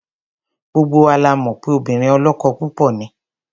Gbogbo wa la mọ̀ pé obìnrin ọlọ́kọ púpọ̀ ni.